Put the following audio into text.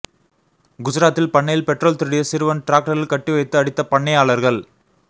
குஜராத்தில் பண்ணையில் பெட்ரோல் திருடிய சிறுவன் டிராக்டரில் கட்டி வைத்து அடித்த பண்ணையாளர்கள்